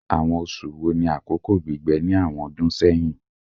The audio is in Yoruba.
Awọn oṣu wo ni akoko gbigbẹ ni awọn ọdun sẹhin?